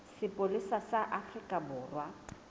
sa sepolesa sa afrika borwa